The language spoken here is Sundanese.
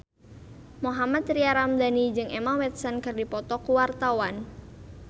Mohammad Tria Ramadhani jeung Emma Watson keur dipoto ku wartawan